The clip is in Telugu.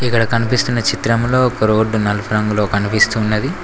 ఇక్కడ కనిపిస్తున్న చిత్రములో ఒక రోడ్డు నలుపు రంగులో కనిపిస్తున్నది.